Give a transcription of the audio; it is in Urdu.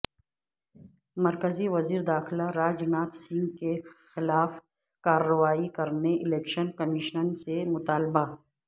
مرکزی وزیر داخلہ راج ناتھ سنگھ کے خلاف کارروائی کرنے الیکشن کمیشن سے مطالبہ